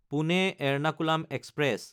Pune Ernakulam express